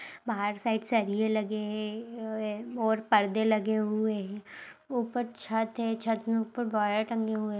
बाहर साइड सरिए लगे हैं अ ओ और पर्दे लगे हुए है ऊपर छत है छत में ऊपर वायर टंगे हुए हैं।